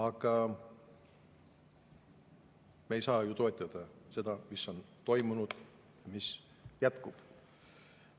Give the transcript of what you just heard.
Aga me ei saa ju toetada seda, mis on toimunud ja mis jätkub.